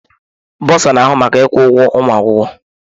Bursar na-ahụ maka ịkwụ ụgwọ ụmụ akwụkwọ.